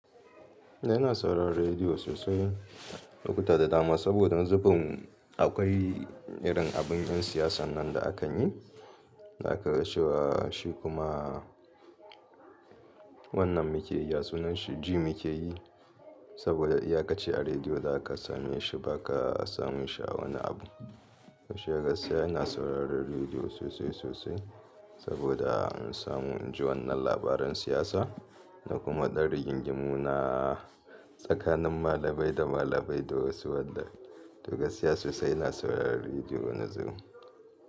Ina sauraron rediyo sosai lokutta da dama saboda wani zubin akwai irin abin 'yan siyasan nan da akan yi, zakaga cewa shi kuma wannan muke yi ya sunan shi, ji muke yi saboda iyakaci a rediyo za ka same shi ba ka samun shi a wani abu. To shiyasa gaskiya ina sauraron rediyo sosai sosai saboda in samu in ji wannan labaran siyasa da kuma ɗan rigingimu na tsakanin malamai da malamai da wasu wadda. To gaskiya sosai ina sauraron rediyo eani zubin.